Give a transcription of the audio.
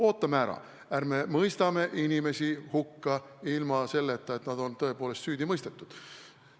Ootame ära, ärme mõistame inimesi hukka ilma selleta, et nad on tõepoolest süüdi mõistetud!